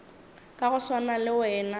ka go swana le wena